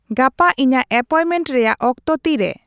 ᱜᱟᱯᱟ ᱤᱧᱟᱹᱜ ᱮᱯᱚᱭᱢᱮᱱᱴ ᱨᱮᱭᱟᱜ ᱚᱠᱛᱚ ᱛᱤ ᱨᱮ ?